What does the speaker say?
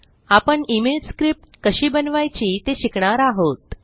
आपण email script कशी बनवायची ते शिकणार आहोत